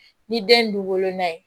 Ni den ye du woloma ye